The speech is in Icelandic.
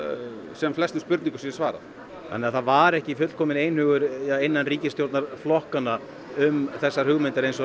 sem flestum spurningum sé svarað þannig að það var ekki fullkominn einhugur innan ríkisstjórnarflokkanna um þessar hugmyndir eins og